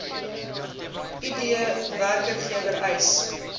id werkgewer eis